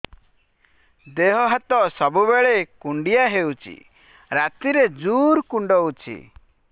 ଦେହ ହାତ ସବୁବେଳେ କୁଣ୍ଡିଆ ହଉଚି ରାତିରେ ଜୁର୍ କୁଣ୍ଡଉଚି